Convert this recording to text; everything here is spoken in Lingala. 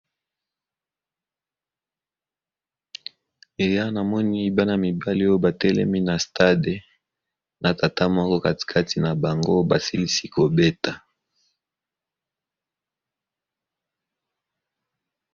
ea namoni bana mibale oyo batelemi na stade na tata moko katikati na bango basilisi kobeta